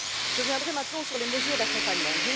Je viendrai maintenant sur les mesures d'accompagnement.